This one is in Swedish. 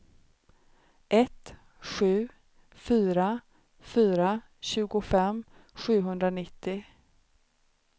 ett sju fyra fyra tjugofem sjuhundranittio